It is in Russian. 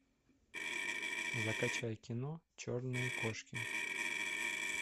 закачай кино черные кошки